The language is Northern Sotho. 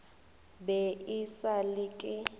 be e sa le ke